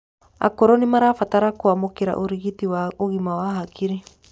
akũrũ nimarabatara kuamukira urigiti wa ũgima wa hakiri